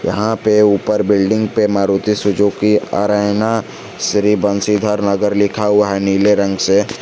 यहां पे ऊपर बिल्डिंग पे मारुति सुजुकी एरेना श्री बंशीधर नगर लिखा हुआ है नीले रंग से।